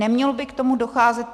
Nemělo by k tomu docházet.